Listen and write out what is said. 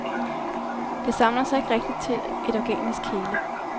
Det samler sig ikke rigtigt til et organisk hele.